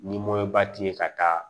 Ni ba t'i ye ka taa